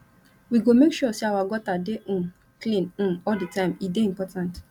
we go make sure sey our gutter dey um clean um all di time e dey important